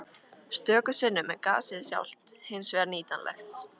Stöku sinnum er gasið sjálft hins vegar nýtanlegt.